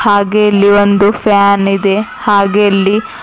ಹಾಗೆ ಇಲ್ಲಿ ಒಂದು ಫ್ಯಾನ್ ಇದೆ ಹಾಗೆ ಇಲ್ಲಿ--